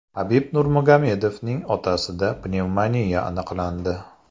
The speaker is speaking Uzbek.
Habib Nurmagomedovning otasida pnevmoniya aniqlandi.